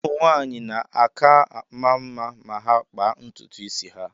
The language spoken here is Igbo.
Ụmụ nwaanyị na-aka ama mma ma ha kpaa ntutu isi ha.